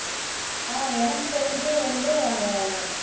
அஹ் எனக்கு தெரிஞ்சு வந்து அந்த